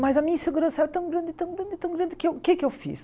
Mas a minha insegurança era tão grande, tão grande, tão grande, que eu o que é que eu fiz?